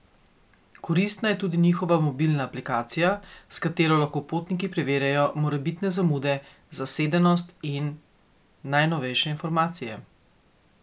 Koristna je tudi njihova mobilna aplikacija, s katero lahko potniki preverjajo morebitne zamude, zasedenost in najnovejše informacije.